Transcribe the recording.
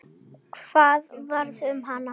Hvað varð um hana?